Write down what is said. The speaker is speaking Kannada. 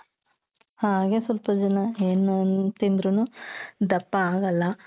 ಹಾಗೆ ಸ್ವಲ್ಪ ಜನ ಏನೂ ತಿಂದ್ರೂನು ದಪ್ಪ ಆಗಲ್ಲ.